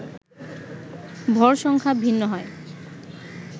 ভর সংখ্যা ভিন্ন হয়